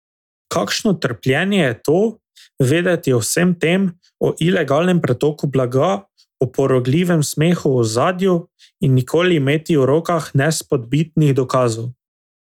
Kakšno trpljenje je to, vedeti o vsem tem, o ilegalnem pretoku blaga, o porogljivem smehu v ozadju, in nikoli imeti v rokah nespodbitnih dokazov.